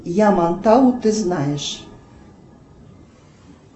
ямантау ты знаешь